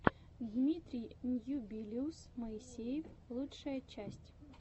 дмитрий ньюбилиус моисеев лучшая часть